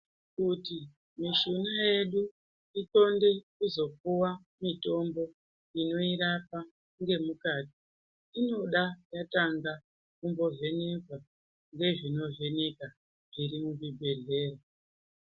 Kuti mishuna yedu igonde kuzopiwe mitombo inoirapa ngemukati, inoda kumbotanga yavhenekwa ngezvinovheneka zviri muzvibhedhlera.